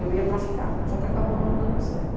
Eu ia para ficar, só que acabou não dando certo.